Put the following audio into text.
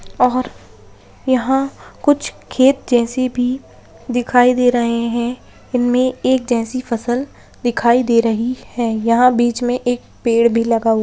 और यहां कुछ खेत जैसी भी दिखाई दे रहे है इनमे एक जैसी फसल दिखाई दे रही है यहां बीच में एक पेड़ भी लगा हु --